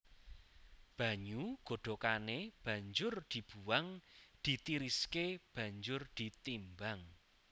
Banyu godhokané banjur dibuwang ditiriské banjur ditimbang